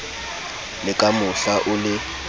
le ka mohla o le